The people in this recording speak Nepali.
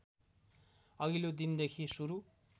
अघिल्लो दिनदेखि सुरु